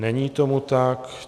Není tomu tak.